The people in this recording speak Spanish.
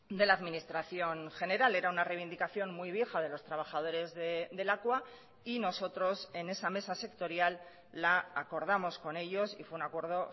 de la administración general era una reivindicación muy vieja de los trabajadores de lakua y nosotros en esa mesa sectorial la acordamos con ellos y fue un acuerdo